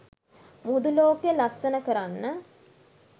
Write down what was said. මුහුදු ලෝකය ලස්සන කරන්න